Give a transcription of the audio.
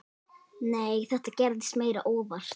Nei, þetta gerðist meira óvart.